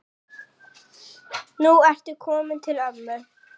Nú ertu kominn til ömmu.